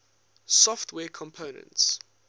software components